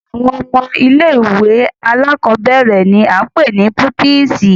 Awọn ọmọ ìlé-ìwé àlàkọbẹrẹ ni a pe ni pupisi.